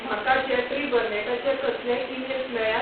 म्हाका जेफ्री बर्नेटाचे कसलेय ईमेल्स मेळ्यात?